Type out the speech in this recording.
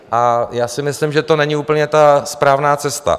A já si myslím, že to není úplně ta správná cesta.